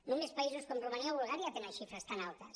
només països com romania o bulgària tenen xifres tan altes